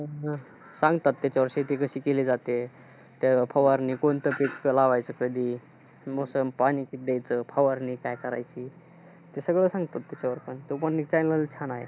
हा सांगतात त्याच्यावर शेती कशी केली जाते. ते फवारणी कोणत कधी, लावायचं कधी? मग पाणी शिंपडायचं, फवारणी काय करायची. ते सगळं सांगतात त्याच्यावर, तो पण एक channel छान आहे.